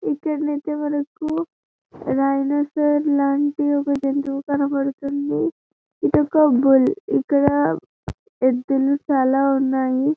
ఇక్కడనయితే మనకు డైనోసార్ లాంటి ఒక జంతువు కనబడుతుంది. ఇక్కడ యెద్దుల చాల ఉన్నాయి.